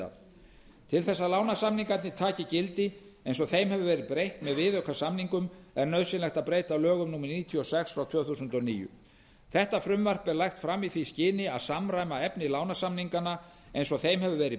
til þess að lánasamningarnir taki gildi eins og þeim hefur verið breytt með viðaukasamningunum er nauðsynlegt að breyta lögum númer níutíu og sex tvö þúsund og níu breyting á lögunum þetta frumvarp er lagt fram í því skyni að samræma efni lánasamninganna eins og þeim hefur verið